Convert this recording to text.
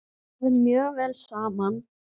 Það fer mjög vel saman.